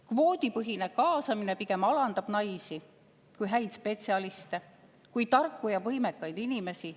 Kvoodipõhine kaasamine pigem alandab naisi kui häid spetsialiste, kui tarku ja võimekaid inimesi.